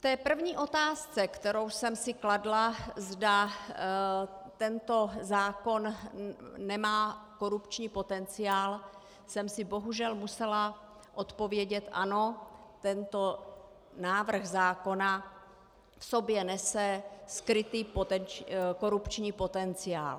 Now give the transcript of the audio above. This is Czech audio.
V té první otázce, kterou jsem si kladla, zda tento zákon nemá korupční potenciál, jsem si bohužel musela odpovědět ano, tento návrh zákona v sobě nese skrytý korupční potenciál.